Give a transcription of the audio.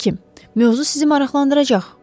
Həkim, mövzu sizi maraqlandıracaq.